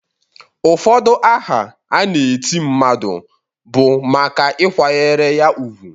Ụfọdụ aha a na-eti mmadụ na bụ maka ịkwanyere ya ugwu.